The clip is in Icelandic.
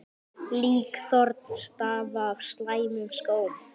Líkþorn stafa af slæmum skóm.